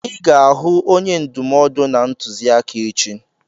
I ga-ahụ onye ndụmọdụ na ntụziaka echi!